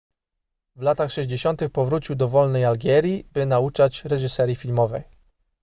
w latach 60 powrócił do wolnej algierii by nauczać reżyserii filmowej